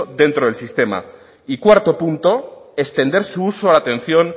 dentro del sistema y cuarto punto extender su uso a la atención